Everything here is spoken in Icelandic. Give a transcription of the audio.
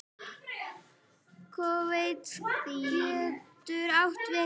Kvóti getur átt við